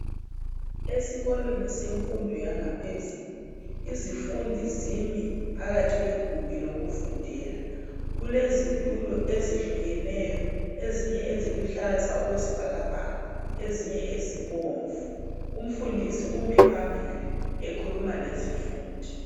Ezikolweni yemfundi yangaphezulu izifundi zimi phakathi kwegumbi lokufundela kulezitulo ezehlukeneyo ezinye eziluhlaza okwesibhakabhaka ezinye ezibomvu umfundisi umi phambili ekhuluma lezifundi